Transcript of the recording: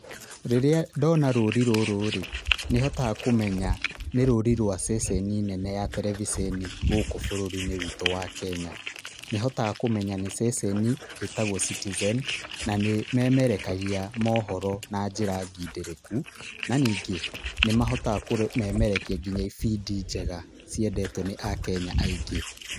Rĩrĩa ndona rũũri rũrũ-rĩ nĩhotaga kũmenya ni rũũri rwa ceceni nene ya tereviceni gũkũ bũrũri-inĩ witũ wa Kenya. Nĩhotaga kũmenya nĩ ceceni ĩtagwo Citizen na nĩ ĩmemerekagia mohoro na njĩra ngindĩrĩku, na ningĩ nĩmahotaga kũmemerekia nginya ibindi njega ciendetwo nĩ akenya aingĩ.